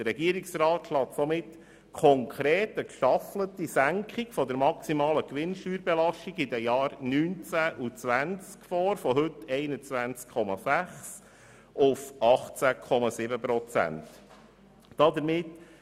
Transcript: Der Regierungsrat schlägt somit konkret eine gestaffelte Senkung der maximalen Gewinnsteuerbelastung in den Jahren 2019 und 2020 von heute 21,6 auf 18,7 Prozent vor.